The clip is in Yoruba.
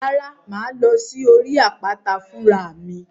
Rárá, màá lọ sórí àpáta fún ra mi.